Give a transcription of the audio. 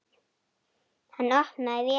Hann opnaði vélina.